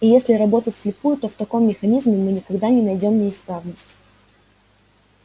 и если работать вслепую то в таком механизме мы никогда не найдём неисправность